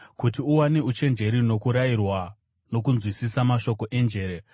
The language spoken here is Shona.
kuti uwane uchenjeri nokurayirwa; nokunzwisisa mashoko enjere;